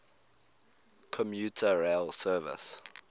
commuter rail service